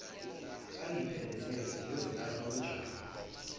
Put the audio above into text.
angiphelezele ngiyozilahla kujabu